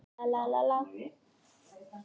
Þú stendur þig vel, Annmar!